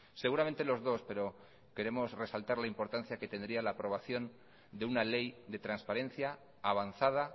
seguramente los dos pero queremos resaltar la importancia que tendría la aprobación de una ley de transparencia avanzada